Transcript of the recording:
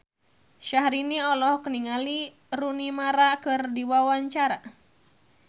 Syahrini olohok ningali Rooney Mara keur diwawancara